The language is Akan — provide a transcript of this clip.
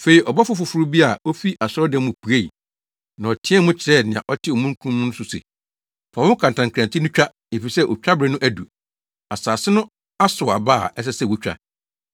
Afei ɔbɔfo foforo bi a ofii asɔredan no mu puei, na ɔteɛɛ mu kyerɛɛ nea ɔte omununkum no so no se, “Fa wo kantankrankyi no twa, efisɛ otwabere no adu, asase no asow aba a ɛsɛ sɛ wotwa!”